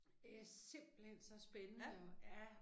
Æhhh simpelthen så spændende og ja